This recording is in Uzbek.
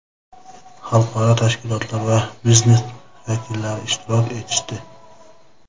xalqaro tashkilotlar va biznes vakillari ishtirok etishdi.